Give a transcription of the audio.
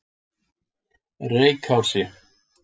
Reykási